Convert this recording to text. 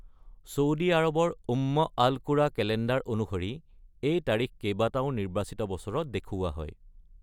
Saudi আৰবৰ Umm al Qura calendar অনুসৰি, এই তাৰিখ কেইবাটাও নিৰ্বাচিত বছৰত দেখুওৱা হয়।